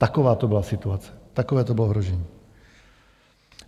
Taková to byla situace, takové to bylo ohrožení.